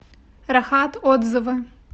рахат отзывы